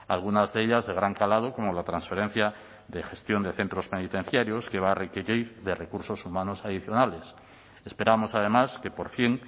algunas de ellas de gran calado como la transferencia de gestión de centros penitenciarios que va a requerir de recursos humanos adicionales esperamos además que por fin